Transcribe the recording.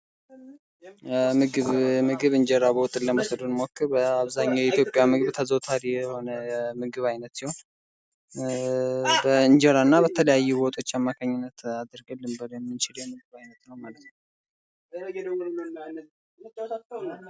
ምግብ እንጀራ በወጥ ለመውሰድ ብንሞክር አብዛኛው የኢትዮጵያ ምግብ ተዘውታሪ የሆነ ምግብ ዓይነት ሲሆን በእንጀራና በተለያዩ ወጦች አማካኝነት አርገን ልንበላው የምንችለው የምግብ አይነት ነው።